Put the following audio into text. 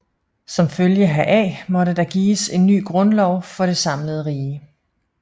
Som følge heraf måtte der gives en ny grundlov for det samlede rige